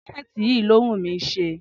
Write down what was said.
Crochet yìí ló wùnmí ṣe.